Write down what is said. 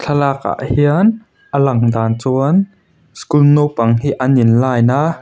thlalakah hian a lang dan chuan school naupang hi an in line a.